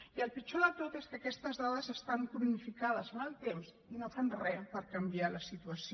i el pitjor de tot és que aquestes dades estan cronificades en el temps i no fan re per canviar la situació